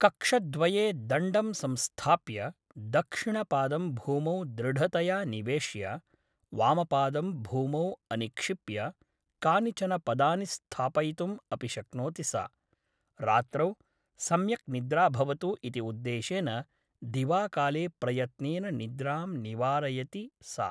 कक्षद्वये दण्डं संस्थाप्य दक्षिणपादं भूमौ दृढतया निवेश्य वामपादं भूमौ अनिक्षिप्य कानिचन पदानि स्थापयितुम् अपि शक्नोति सा । रात्रौ सम्यक् निद्रा भवतु इति उद्देशेन दिवाकाले प्रयत्नेन निद्रां निवारयति सा ।